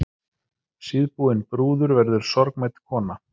Síðbúin brúður verður sorgmædd kona.